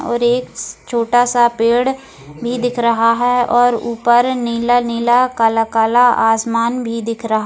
और एक छोटा सा पेड़ भी दिख रहा है और ऊपर नीला-नीला काला-काला आसमान भी दिख रहा --